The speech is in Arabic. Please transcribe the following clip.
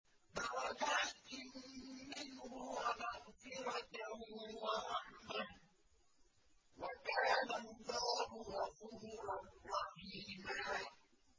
دَرَجَاتٍ مِّنْهُ وَمَغْفِرَةً وَرَحْمَةً ۚ وَكَانَ اللَّهُ غَفُورًا رَّحِيمًا